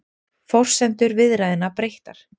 Forsendur viðræðna breyttar